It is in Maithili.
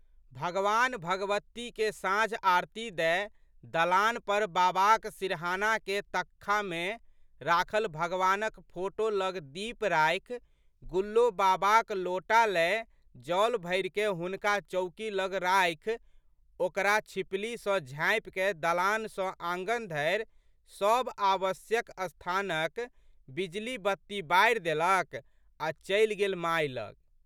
भगवानभगवतीके साँझआरती दए दलान पर बाबाक सिरहानाके तक्खामे राखल भगवानक फोटो लग दीप राखि गुल्लो बाबाक लोटा लए जल भरिकए हुनका चौकी लग राखि ओकरा छिपली सँ झाँपिकए दलान सँ आँगन धरि सब आवश्यक स्थानक बिजलीबत्ती बारि देलक आ चलि गेल माय लग।